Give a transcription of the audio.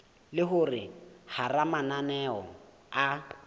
le hore hara mananeo a